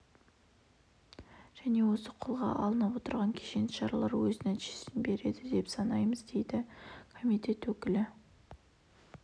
және осы қолға алынып отырған кешенді шаралар өз нәтижесін береді деп санаймыз дейді комитет өкілі